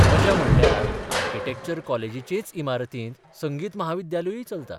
मजा म्हणल्यार आर्किटॅक्चर कॉलेजीचेच इमारतींत संगीत महाविद्यालयूय चलता.